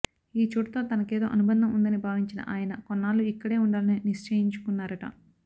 ఈ చోటుతో తనకేదో అనుబంధం ఉందని భావించిన ఆయన కొన్నాళ్లు ఇక్కడే ఉండాలని నిశ్చయించుకున్నారట